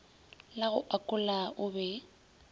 la go akola o be